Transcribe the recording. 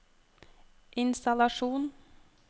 innstallasjon